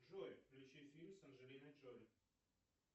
джой включи фильм с анджелиной джоли